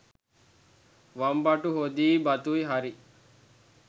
වම්බටු හොදියි බතුයි හරි